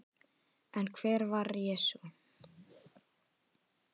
En hver var Jesús?